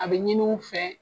A be ɲimiw fɛ